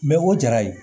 o jara ye